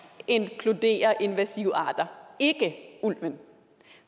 inkluderer invasive arter ikke ulven